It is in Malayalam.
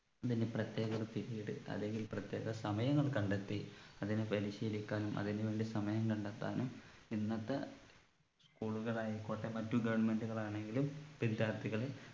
അതിനു പ്രത്യേക ഒരു period അല്ലെങ്കിൽ പ്രത്യേക സമയങ്ങൾ കണ്ടെത്തി അതിനെ പരിശീലിക്കാനും അതിനു വേണ്ടി സമയം കണ്ടെത്താനും ഇന്നത്തെ school കൾ ആയിക്കോട്ടെ മറ്റു government കൾ ആണെങ്കിലും വിദ്യാർത്ഥികളെ